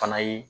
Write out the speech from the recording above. Fana ye